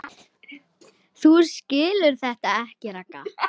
Þú skilur þetta ekki, Ragga.